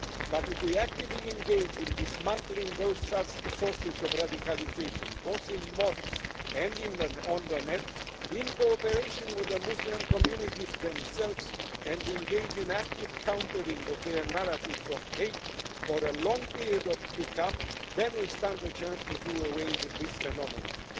But if we actively engage in dismantling those sources of radicalisation both in mosques and on the net, in cooperation with the Muslim communities themselves, and engage in the active countering of their narratives of hate for a long period to come, then we stand the chance to do away with this phenomenon.